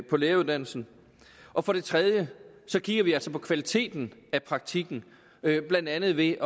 på læreruddannelsen og for det tredje kigger vi altså på kvaliteten af praktikken blandt andet ved